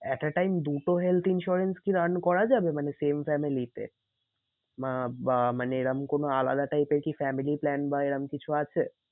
At a time দুটো health insurance কি run করা যাবে? মানে same family তে? মানে এরম কোনো আলাদা type এর কি family plan বা এরম কিছু আছে?